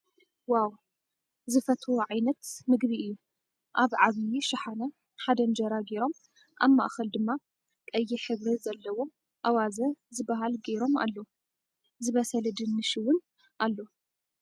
ዋው ዝፈትዎ ዓይነት ምግቢ እዩ። ኣብ ዓብይ ሽሓነ ሓደ እንጀራ ገይሮም ኣብ ማእከል ድማ ቀይሕ ሕብሪ ዘለዎ ኣዋዘ ዝብሃለ ገይሮም ኣለው ።ዝበሰለ ድኑሽ እውን ኣሎ።